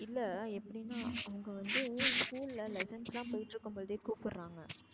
இல்ல எப்டினா அங்க வந்து school ல lessons லாம் போயிட்டு இருக்கும் போதே கூப்புடுராங்க.